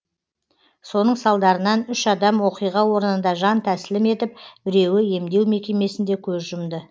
соның салдарынан үш адам оқиға орнында жан тәсілім етіп біреуі емдеу мекемесінде көз жұмды